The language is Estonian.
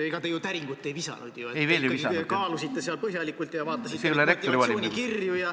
Täringut te ju ei visanud, te kaalusite põhjalikult ja vaatasite motivatsioonikirju.